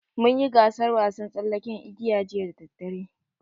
Mun yi gasaar wasan tsallaken igiya jiya da daddare.